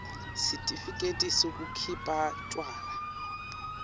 sitifiketi sekukhipha tjwala